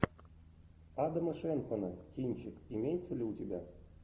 адама шенкмана кинчик имеется ли у тебя